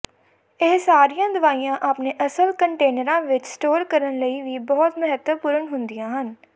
ਇਹ ਸਾਰੀਆਂ ਦਵਾਈਆਂ ਆਪਣੇ ਅਸਲ ਕੰਟੇਨਰਾਂ ਵਿੱਚ ਸਟੋਰ ਕਰਨ ਲਈ ਵੀ ਬਹੁਤ ਮਹੱਤਵਪੂਰਨ ਹੁੰਦੀਆਂ ਹਨ